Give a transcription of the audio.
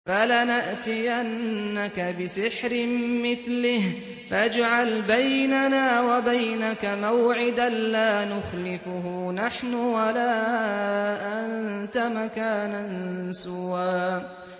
فَلَنَأْتِيَنَّكَ بِسِحْرٍ مِّثْلِهِ فَاجْعَلْ بَيْنَنَا وَبَيْنَكَ مَوْعِدًا لَّا نُخْلِفُهُ نَحْنُ وَلَا أَنتَ مَكَانًا سُوًى